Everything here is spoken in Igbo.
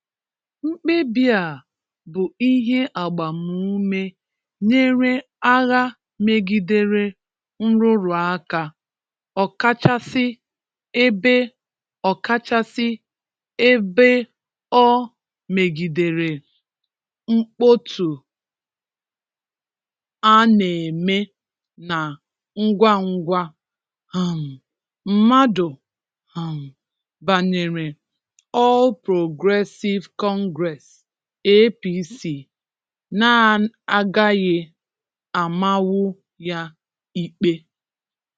Mkpebi a bụ ihe agbamume nyere agha megidere nrụrụ aka, ọkachasị ebe o ọkachasị ebe o megidere mkpọtụ a n'eme na ngwa ngwa um mmadụ um banyere All Progressive Congress (APC) na agaghị amanwu ya ikpe.